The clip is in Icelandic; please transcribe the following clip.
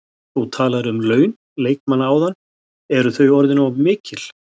Þú talaðir um laun leikmanna áðan, eru þau orðin of mikil?